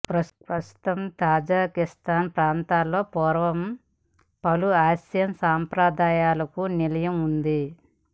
ప్రస్తుత తజకిస్థాన్ ప్రాంతంలో పూర్వం పలు ఆసియన్ సంప్రదాయాలకు నిలయంగా ఉంది